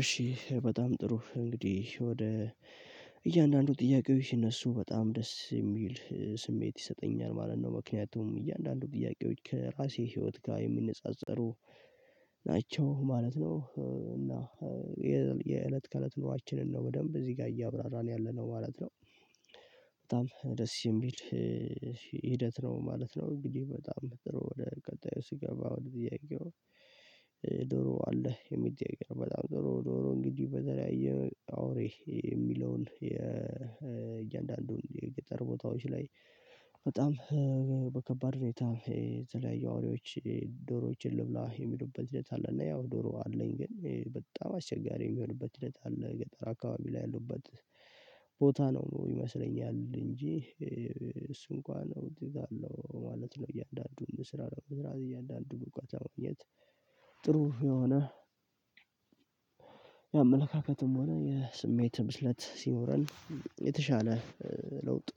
እሺ በጣም ጥሩ እንግዲህ ወደ እያንዳንዱ ጥያቄዎች እነሱ በጣም ደስ የሚል ስሜት ይሰጠኛል ማለት ነው። ምክንያቱም እያንዳንዱ ጥያቄዎች ከራሴ ህይወት ጋር የሚነጻጸሩ ናቸው ማለት ነው። እና የእለት ከእለት ኑሯችንን ነው በደንብ እዚህ ጋር እያብራራን ያለነው ማለት ነው። በጣም ደስ የሚል ሂደት ነው ማለት ነው። እንግዲህ በጣም ጥሩ ወደ ቀጣዩ ሲገባ ወደ ጥያቄው። ዶሮ አለ የሚገኘው በጣም ጥሩ ደሮ እንግዲህ በተለያየ መልኩ አውሬ የሚለውን እያንዳንዱን የገጠር ቦታዎች ላይ በጣም በከባድ ሁኔታ የተለያየ አዋሪዎች ዶሮዎችን ልብላ የሚሉበት ሂደት አለ። እና ያው ዶሮ አለኝ ግን በጣም አስቸጋሪ የሚሆንበት እለት አለ። ገጠር አካባቢ ላይ ያሉበት ቦታ ነው ነው ይመስለኛል። እንጂ እሱ እንኳን ነው እዚህ ጋር ነው ማለት ነው። እያንዳንዱን ስራ ነው ስራ እያንዳንዱን በጓደኞቻችን ሁኔታ። ጥሩ የሆነ ያ አመለካከትም ሆነ የስሜት ምስለት ሲኖረን የተሻለ ለውጥ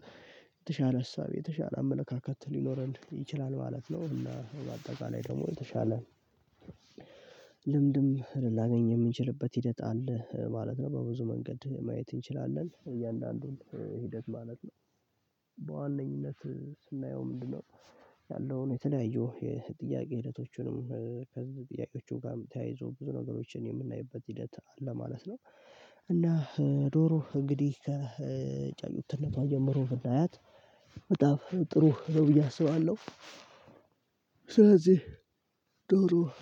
የተሻለ ሀሳብ የተሻለ አመለካከት ሊኖረን ይችላል ማለት ነው። እና በአጠቃላይ ደግሞ የተሻለ ልምድም ላገኝ የምንችልበት ሂደት አለ ማለት ነው። በብዙ መንገድ ማየት እንችላለን እያንዳንዱን ሂደት ማለት ነው። በዋነኝነት ስናየው ምንድነው? ያለውን የተለያዩ የጥያቄ ሂደቶችንም ከዚህ ጥያቄዎቹ ጋር የተያይዞ ብዙ ነገሮችን የምናይበት ሂደት ለማለት ነው። እና ዶሮ እንግዲህ ከጫጩነቷ ጀምሮ ብናያትት ጥሩ ደውዬ አስባለሁ። ስለዚህ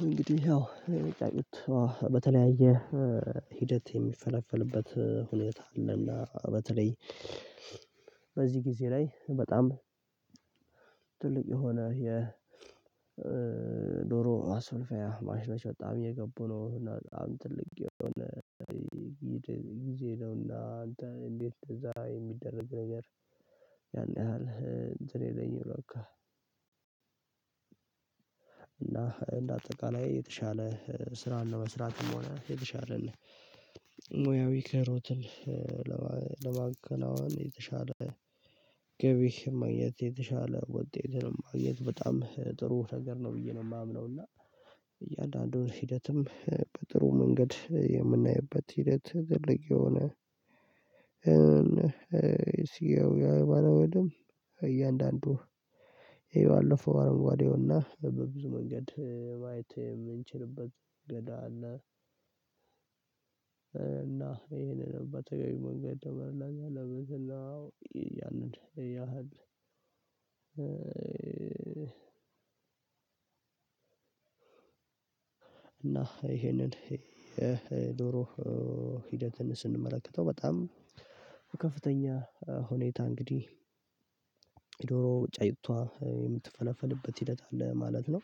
እንግዲህ ያው ጫጩቷ በተለያየ ሂደት የሚፈለፈልበት ሁኔታ። በዚህ ጊዜ ላይ በጣም ትልቅ የሆነ የዶሮ አስፈልፈያ ማሽኖች በጣም የገቡ ነው። እና በጣም ትልቅ የሆነ ጊዜ ነውና አንተ እንዴት እንደዛ የሚደረግ ነገር? ያን ያህል እንትን የለኝም። በቃ እና እንደ አጠቃላይ የተሻለ ስራ ነው መስራትም ሆነ የተሻለልኝ ሙያዊ ክህሎትን ለማከናወን የተሻለ ገቢ ማግኘት የተሻለ ውጤትን ለማግኘት በጣም ጥሩ ነገር ነው። ብዬ ነው የማምነው። እና እያንዳንዱን ሂደትም በጥሩ መንገድ የምናይበት ሂደት ትልቅ የሆነ። ሲያው አረንጓዴውና በብዙ መንገድ ማየት የምንችልበት ገዳ አለ እና ይሄንን በተገቢ መንገድ ደመርላሻ። ለመዝላው ያንን ያህል። እና ይሄንን ዶሮ ሂደትን ስንመለከተው በጣም ከፍተኛ ሁኔታ እንግዲህ ዶሮ ጫጭቷ የምትፈለፈልበት ሂደት አለ ማለት ነው።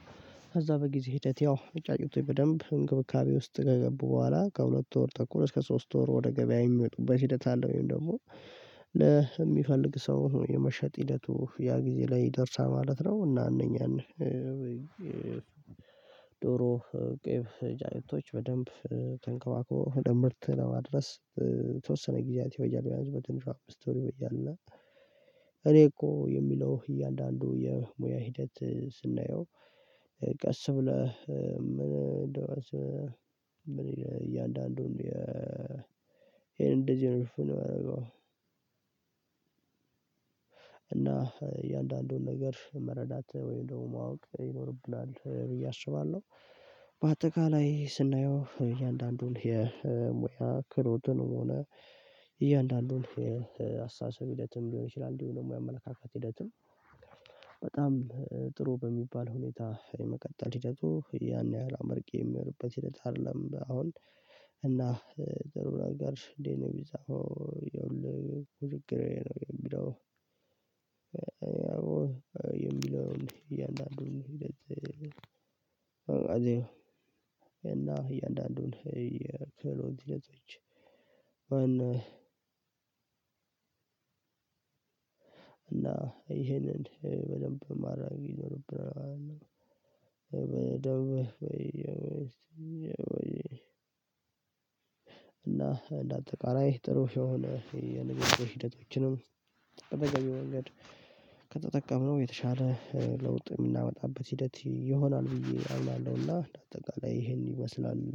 ከዛ በጊዜ ሂደት ያው ጫጫቶች በደንብ እንክብካቤ ውስጥ ከገቡ በኋላ ከሁለት ወር ተኩል እስከ ሶስት ወር ወደ ገበያ የሚመጡበት ሂደት አለ። ወይም ደግሞ የሚፈልግ ሰው የመሸጥ ሂደቱ ያ ጊዜ ላይ ይደርሳል ማለት ነው። እና እነኛን ዶሮ ቄብ ጫጩቶች በደንብ ተንከባክቦ ወደ ምርት ለማድረስ የተወሰነ ጊዜያት ይፈጃል ቢያንስ በትንሹ አምስት ወር ይፈጃል። እና እኮ የሚለው እያንዳንዱ የሙያ ሂደት ስናየው ቀስ ብለህ ምን ደረሰ? እያንዳንዱን ይሄን እንደዚህ ነው እፍን ማረገው። እና እያንዳንዱን ነገር መረዳት ወይም ደግሞ ማወቅ ይኖርብናል ብዬ አስባለሁ። በአጠቃላይ ስናየው እያንዳንዱን የሙያ ክህሎትን የሆነ እያንዳንዱን የአስተሳሰብ ሂደትም ሊሆን ይችላል። እንዲሁ ደግሞ የአመለካከት ሂደትም በጣም ጥሩ በሚባል ሁኔታ የመቀጠል ሂደቱ ያን ያህል አመርቂ የሚሆንበት ሂደት አይደለም። አሁን እና ደሩ ነገር እንዴት ነው? ቢዛው ይኸውልህ ውዝግሬ ነው የሚለው። የሚለውን እያንዳንዱን እያንዳንዱን የክህሎት ሂደቶች እና ይሄንን በደንብ ማድረግ ይኖርብናል። በደንብ እና እንደ አጠቃላይ ጥሩ የሆነ የንግግር ሂደቶችንም በተገቢው መንገድ ከተጠቀምነው የተሻለ ለውጥ የምናመጣበት ሂደት ይሆናል። ብዬ አምናለሁና እንደ አጠቃላይ ይሄን ይመስላል